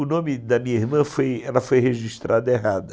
O nome da minha irmã foi, ela foi registrada errada.